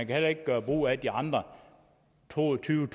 kan heller ikke gøre brug af de andre to og tyve